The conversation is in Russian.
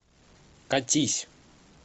катись